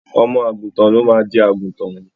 Ọmọ à̀gùntàn ló máa di àgùntàn.